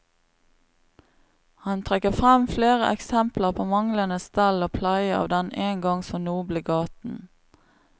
Han trekker frem flere eksempler på manglende stell og pleie av den en gang så noble gaten.